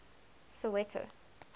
soweto